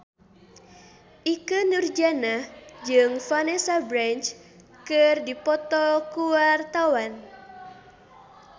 Ikke Nurjanah jeung Vanessa Branch keur dipoto ku wartawan